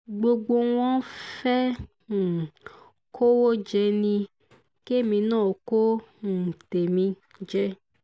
gbogbo wọn fẹ́ẹ́ um kówó jẹ ni kémi náà kó um tèmi jẹ